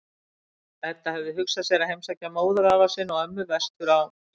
Edda hafði hugsað sér að heimsækja móðurafa sinn og-ömmu vestur á